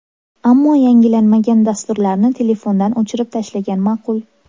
Ammo yangilanmagan dasturlarni telefondan o‘chirib tashlagan ma’qul.